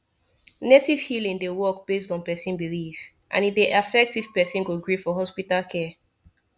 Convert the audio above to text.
native healing dey work based on person belief and e dey affect if person go gree for hospital care